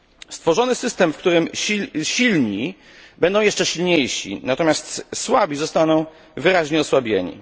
Stworzony będzie system, w którym silni będą jeszcze silniejsi, natomiast słabi zostaną wyraźnie osłabieni.